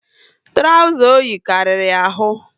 Trauza oyi karịrị ya ahụ